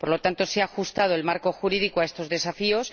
Por lo tanto, se ha ajustado el marco jurídico a estos desafíos